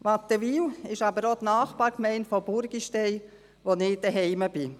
Wattenwil ist aber auch die Nachbargemeinde von Burgistein, wo ich zu Hause bin.